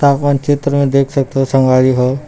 आप मन चित्र में देख सकथा संगवारी हो।